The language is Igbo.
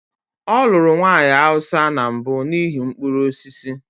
Ọ lụrụ nwanyị Hausa na mbụ n'ihi mkpụrụ osisi.